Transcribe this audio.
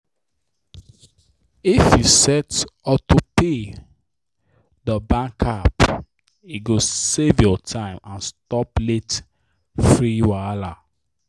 if you set auto pay dor bank app e go save your time and stop late fee wahala.